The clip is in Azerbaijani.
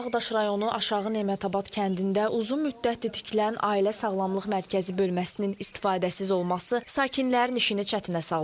Ağdaş rayonu Aşağı Nemətabad kəndində uzun müddətdir tikilən ailə sağlamlıq mərkəzi bölməsinin istifadəsiz olması sakinlərin işini çətinə salır.